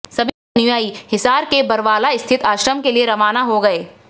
सभी अनुयायी हिसार के बरवाला स्थित आश्रम के लिए रवाना हो गए